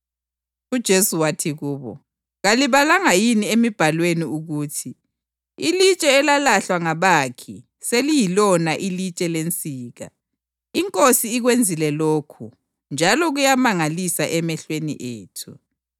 UJesu wathi kubo, “Kalibalanga yini emibhalweni ukuthi: ‘Ilitshe elalahlwa ngabakhi seliyilona ilitshe lensika; iNkosi ikwenzile lokhu, njalo kuyamangalisa emehlweni ethu?’ + 21.42 AmaHubo 118.22-23